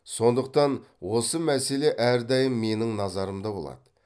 сондықтан осы мәселе әрдайым менің назарымда болады